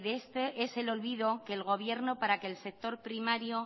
este es el olvido que el gobierno para que el sector primario